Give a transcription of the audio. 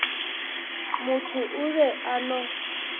motho o be a no